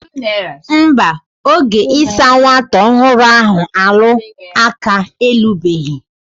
Nba, oge isa nwata ohuru ahu alu aka elubehi.